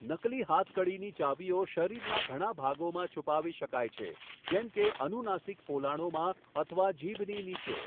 નકલી હાથકડી ની ચાવીઓ શરીરના ઘણા ભાગોમાં છુપાવી શકાય છે, જેમ કે અનુનાસિક પોલાણોમાં અથવા જીભની નીચે.